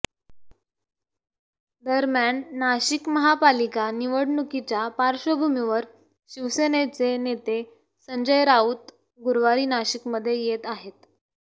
दरम्यान नाशिक महापालिका निवडणुकीच्या पार्श्वभूमीवर शिवसेनेचे नेते संजय राऊत गुरुवारी नाशिकमध्ये येत आहेत